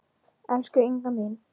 Elsku Inga mín.